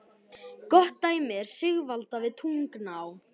Gott dæmi er Sigalda við Tungnaá.